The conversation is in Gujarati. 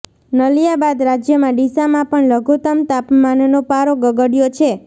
નલિયા બાદ રાજયમાં ડીસામાં પણ લઘુત્તમ તાપમાનનો પારો ગગડયો છે